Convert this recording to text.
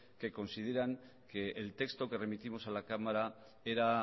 que consideran que el texto que remitimos a la cámara era